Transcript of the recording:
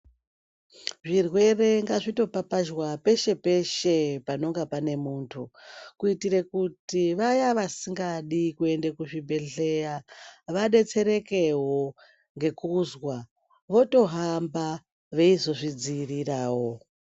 Zvirwere ngazvitopapazhwa peshe peshe panonga pane muntu kuitire kuti vaya vasingadi kuenda kuzvibhedhlera vadetserekewo ngekuzwa votohamba veitozvidzivirirawo.